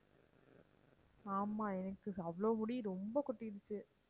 ஆமாம் எனக்கு அவ்ளோ முடி ரொம்ப கொட்டிடுச்சு